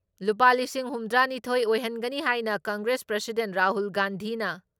ꯂꯨꯄꯥ ꯂꯤꯁꯤꯡ ꯍꯨꯝꯗ꯭ꯔꯥ ꯅꯤꯊꯣꯏ ꯑꯣꯏꯍꯟꯒꯅꯤ ꯍꯥꯏꯅ ꯀꯪꯒ꯭ꯔꯦꯁ ꯄ꯭ꯔꯁꯤꯗꯦꯟꯠ ꯔꯥꯍꯨꯜ ꯒꯥꯟꯙꯤꯅ